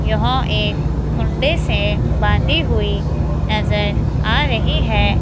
यह एक खूंडे से बांधी हुई नजर आ रही है।